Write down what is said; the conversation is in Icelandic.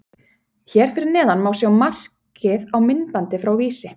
Hér fyrir neðan má sjá markið á myndbandi frá Vísi.